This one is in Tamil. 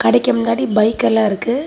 கடைக்கு முன்னாடி பைக் எல்லாம் இருக்கு.